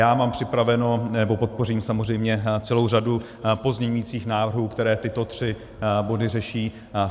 Já mám připraveno, nebo podpořím samozřejmě celou řadu pozměňujících návrhů, které tyto tři body řeší.